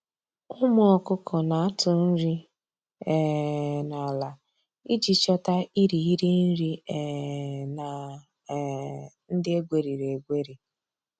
Ụmụ ọkụkụ na-atụ nri um n’ala iji chọta irighiri nri um na um ndị egweriri egweri